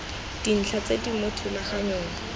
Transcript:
dintlha tse di mo thulaganyong